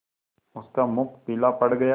उसका मुख पीला पड़ गया